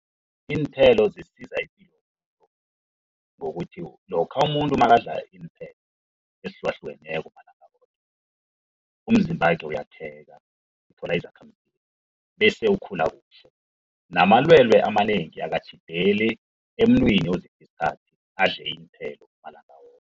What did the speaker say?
iinthelo zisiza ipilo ngokuthi lokha umuntu nakadla iinthelo ezihlukahlukeneko umzimbakhe uyakheka uthola izakhamzimba bese ukhula kuhle. Namalwelwe amanengi akatjhideli emntwini ozipha isikhathi adle iinthelo malanga woke.